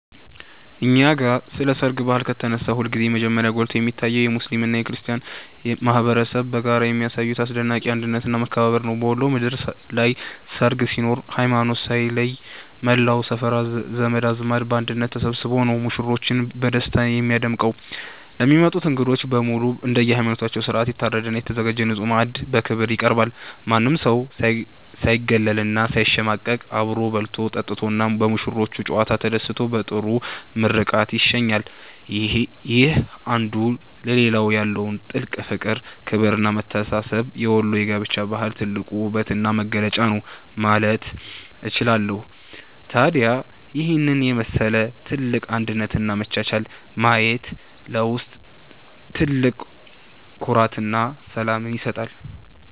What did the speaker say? እኛ ጋ ስለ ሰርግ ባህል ከተነሳ ሁልጊዜም መጀመሪያ ጎልቶ የሚታየው የሙስሊሙና የክርስቲያኑ ማኅበረሰብ በጋራ የሚያሳዩት አስደናቂ አንድነትና መከባበር ነው። በወሎ ምድር ላይ ሰርግ ሲኖር ሃይማኖት ሳይለይ መላው ሰፈርና ዘመድ አዝማድ በአንድነት ተሰብስቦ ነው ሙሽሮችን በደስታ የሚያደምቀው። ለሚመጡት እንግዶች በሙሉ እንደየሃይማኖታቸው ሥርዓት የታረደና የተዘጋጀ ንጹሕ ማዕድ በክብር ይቀርባል። ማንም ሰው ሳይገለልና ሳይሸማቀቅ አብሮ በልቶ፣ ጠጥቶና በሙሽሮቹ ጨዋታ ተደስቶ በጥሩ ምርቃት ይሸኛል። ይህ አንዱ ለሌላው ያለው ጥልቅ ፍቅር፣ ክብርና መተሳሰብ የወሎ የጋብቻ ባህል ትልቁ ውበትና መገለጫ ነው ማለት እችላለሁ። ታዲያ ይህንን የመሰለ ትልቅ አንድነትና መቻቻል ማየት ለውስጥ ትልቅ ኩራትና ሰላምን ይሰጣል።